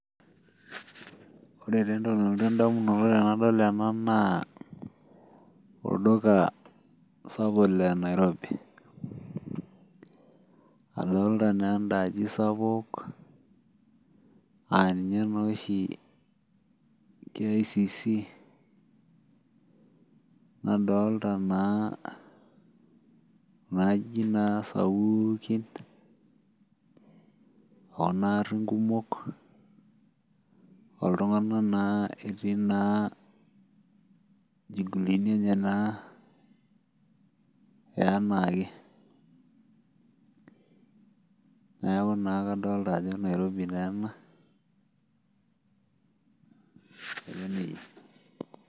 Wore taa entoki nalotu endamunoto tenadol ena naa olduka sapuk lenairobi. Adolta naa endaaji sapuk, aa ninye naa oshi KICC, nadoolta naa kunda ajijik naa sapuukin, okunaarin kumok, oltunganak naa etii naa inchugulini enye naa enaake. Neeku naa kadoolta ajo Nairobi taa ena, aiko nejia.